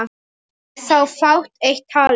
Er þá fátt eitt talið.